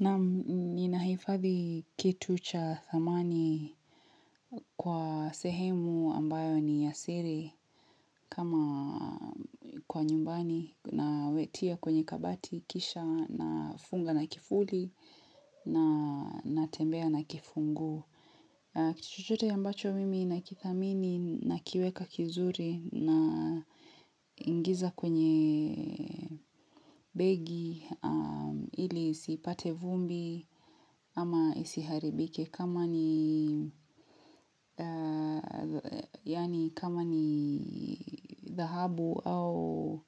Naam ninahifadhi kitu cha thamani kwa sehemu ambayo ni ya siri kama kwa nyumbani na wetia kwenye kabati kisha nafunga na kifuli na natembea na kifunguo. Kitu chochote ambacho mimi nakithamini nakiweka vizuri naingiza kwenye begi ili isipate vumbi ama isiharibike kama ni dhahabu au